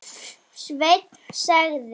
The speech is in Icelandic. Sveinn sagði.